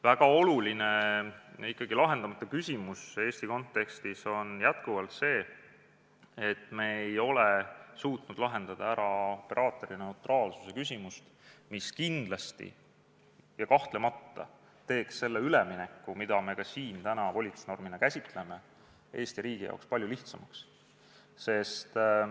Väga oluline ja ikkagi lahendamata küsimus Eesti kontekstis on jätkuvalt see, et me ei ole suutnud lahendada operaatorineutraalsuse probleemi, mis kindlasti ja kahtlemata teeks selle ülemineku, mida me ka siin täna volitusnormina käsitleme, Eesti riigi jaoks palju lihtsamaks.